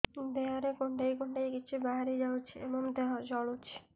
ଦେହରେ କୁଣ୍ଡେଇ କୁଣ୍ଡେଇ କିଛି ବାହାରି ଯାଉଛି ଏବଂ ଦେହ ଜଳୁଛି